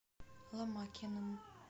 ломакиным